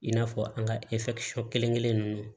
I n'a fɔ an ka kelenkelen ninnu